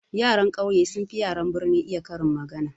Yaran ƙauye sun fi yaran birni iya karin magana.